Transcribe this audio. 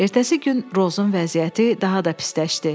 Ertəsi gün Rozun vəziyyəti daha da pisləşdi.